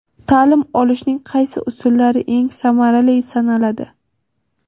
Ta’lim olishning qaysi usullari eng samarali sanaladi?.